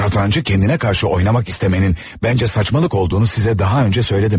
Satrancı kendine karşı oynamak istemənin bəncə saçmalık olduğunu sizə daha öncə söylədim.